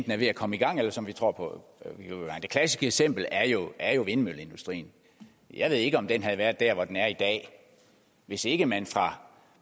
er ved at komme i gang eller som vi tror på det klassiske eksempel er jo er jo vindmølleindustrien jeg ved ikke om den havde været dér hvor den er i dag hvis ikke man fra